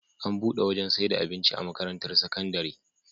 Ana buɗe wajan saida abinci a makarantar sakandari